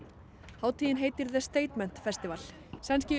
hátíðin heitir statement festival sænski